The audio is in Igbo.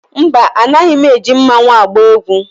Mba, anaghị m eji mmanwu agba egwu.